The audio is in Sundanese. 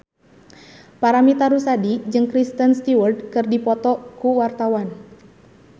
Paramitha Rusady jeung Kristen Stewart keur dipoto ku wartawan